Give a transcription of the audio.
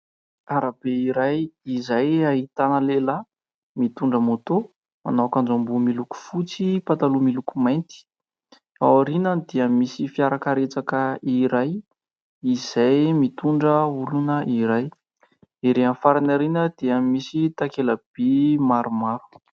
Arabe iray izay ahitana lehilahy mitondra ''moto'', manao akanjo ambony miloko fotsy, pataloha miloko mainty ; ao aorianany dia misy fiarakaretsaka iray izay mitondra olona iray. Erỳ amin'ny farany ao aoriana dia misy takela-by maromaro.